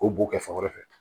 O b'o kɛ fɛn wɛrɛ fɛ